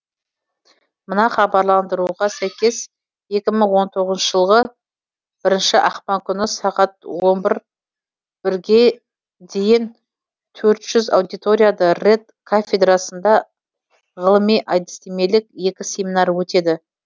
мына хабарландыруға сәйкес екі мың он тоғызыншы жылғы бірініші ақпан күні сағат он бір бірге дейін төрт жүз аудиторияда рэт кафедрасында ғылыми әдістемелік екі семинар өтеді